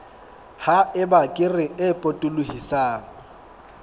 ha eba kere e potolohisang